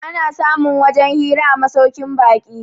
ana samun wajen Jira a masaukin baki